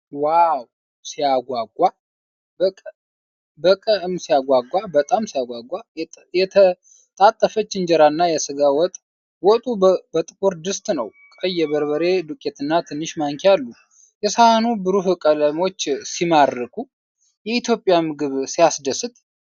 ዎው ሲያጓጓ! በቀ እም ሲያጓጓ! የተጣጠፈች እንጀራና የስጋ ወጥ። ወጡ በጥቁር ድስት ነው። ቀይ የበርበሬ ዱቄትና ትንሽ ማንኪያ አሉ። የሰሃኑ ብሩህ ቀለሞች ሲማርኩ! የኢትዮጵያ ምግብ ሲያስደስት!